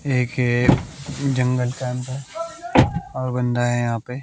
एक हे जंगल के अंदर और बंदा है यहां पे।